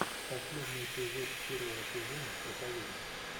последний эпизод первого сезона проповедник